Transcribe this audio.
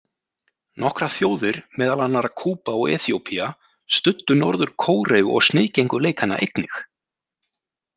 Nokkrar þjóðir, meðal annarra Kúba og Eþíópía, studdu Norður-Kóreu og sniðgengu leikana einnig.